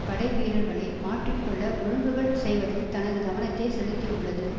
படைவீரர்களை மாற்றி கொள்ள ஒழுங்குகள் செய்வதில் தனது கவனத்தை செலுத்தியுள்ளது